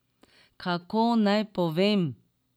Kako naj povem?